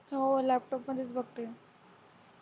हो laptop मध्येच बघते